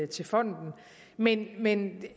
til fonden men men